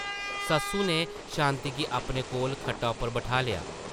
सस्सु नै शांति गी अपने कोल खट्टा उप्पर बठालेआ ।